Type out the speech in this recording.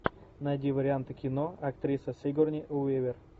найди варианты кино актриса сигурни уивер